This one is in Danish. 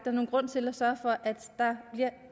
er nogen grund til at sørge for at der bliver